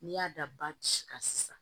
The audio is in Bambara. N'i y'a da basi kan sisan